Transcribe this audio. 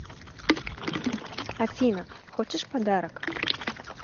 афина хочешь подарок